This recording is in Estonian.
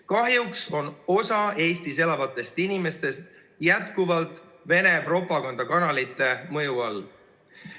Kahjuks on osa Eestis elavatest inimestest jätkuvalt Vene propagandakanalite mõju all.